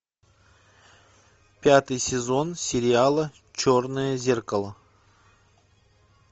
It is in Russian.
пятый сезон сериала черное зеркало